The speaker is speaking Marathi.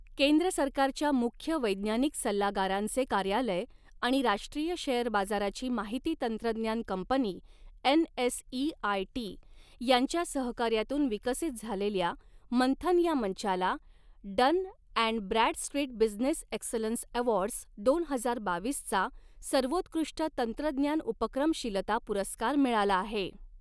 केंद्र सरकारच्या मुख्य वैज्ञानिक सल्लागारांचे कार्यालय आणि राष्ट्रीय शेअर बाजाराची माहिती तंत्रज्ञान कंपनी एनएसइआयटी, यांच्या सहकार्यातून विकसित झालेल्या मंथन या मंचाला, Dun and Bradstreet business excellence awards दोन हजार बावीसचा, सर्वोत्कृष्ट तंत्रज्ञान उपक्रमशीलता पुरस्कार मिळाला आहे.